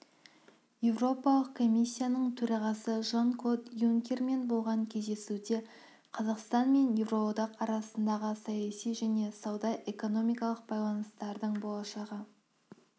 еуропалық комиссияның төрағасы жан-клод юнкермен болған кездесуде қазақстан мен еуроодақ арасындағы саяси және сауда-экономикалық байланыстардың болашағы